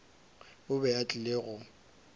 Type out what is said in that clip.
o be a tlile go